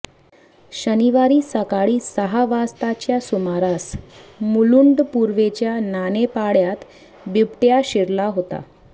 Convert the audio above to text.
शनिवारी सकाळी सहा वाजताच्या सुमारास मुलुंड पूर्वेच्या नानेपाड्यात बिबट्या शिरला होता